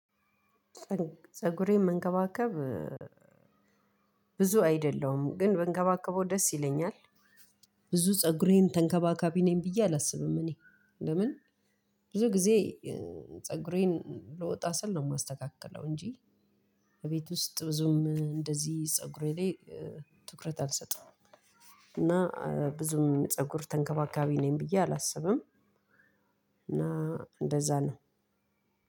ፀጉሬን መንከባከብ ብዙ አይደለሁም ግን ብንከባከበው ደስ ይለኛል። ብዙ ፀጉሬን ተንከባካቢ ነኝ ብዬ አላስብም እኔ። ለምን ብዙ ጊዜ ፀጉሬን ልወጣ ስል ነው የማስተካከለው እንጂ። እቤት ውስጥ ብዙም እንደዚህ ፀጉሬ ላይ ትኩረት አልሰጥም። እና ብዙም ፀጉር ተንከባካቢ ነኝ ብዬ አላስብም። እና እንደዛ ነው